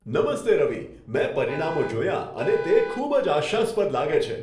નમસ્તે રવિ, મેં પરિણામો જોયા અને તે ખૂબ જ આશાસ્પદ લાગે છે.